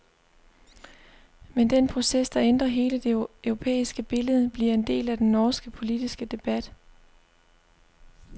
Men den proces, der ændrer hele det europæiske billede, bliver en del af den norske politiske debat.